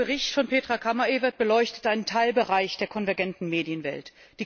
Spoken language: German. Der Bericht von Petra Kammerevert beleuchtet einen Teilbereich der konvergenten Medienwelt.